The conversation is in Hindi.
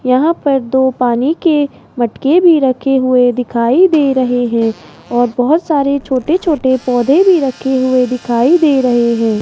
यहां पर दो पानी के मटके भी रखे हुए दिखाई दे रहे हैं और बहोत सारे छोटे छोटे पौधे भी रखे हुए दिखाई दे रहे हैं।